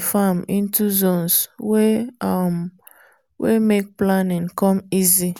farm into zones wey um make planning come easy.